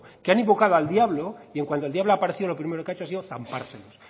que han invocado al diablo y en cuando el diablo ha aparecido lo primero que ha hecho ha sido zampárselos